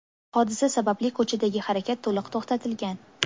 Hodisa sababli ko‘chadagi harakat to‘liq to‘xtatilgan.